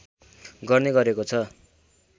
गर्ने गरेको छ